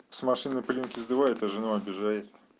с машиной пылинки сдувает а жену обижает